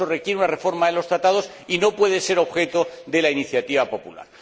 eso requiere una reforma en los Tratados y no puede ser objeto de la iniciativa popular.